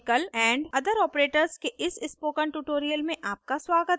logical & other operators के इस spoken tutorial में आपका स्वागत है